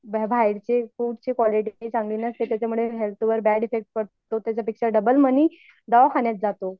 बाहेरची फूडची क्वालिटी चांगली नसते त्याच्यामुळे हेल्थ वर बॅड एफ्फेक्ट पडतो त्याच्यापेक्षा डबल मनी दवाखान्यात जातो.